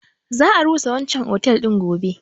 Za a rusa otel din can gobe.